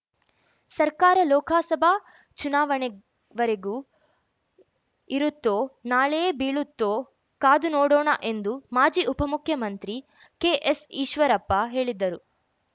ಸರ್ಕಾರ ಲೋಕಸಭಾ ಚುನಾವಣೆವರೆಗೂ ಇರುತ್ತೋ ನಾಳೆಯೇ ಬೀಳುತ್ತೋ ಕಾದು ನೋಡೋಣ ಎಂದು ಮಾಜಿ ಉಪಮುಖ್ಯಮಂತ್ರಿ ಕೆಎಸ್‌ಈಶ್ವರಪ್ಪ ಹೇಳಿದರು